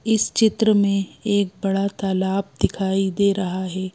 इस चित्र में एक बड़ा तालाब दिखाई दे रहा है।